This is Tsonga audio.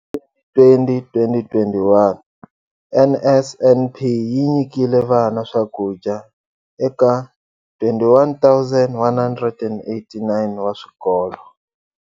Hi 2020 - 21, NSNP yi nyikile vana swakudya eka 21 189 wa swikolo.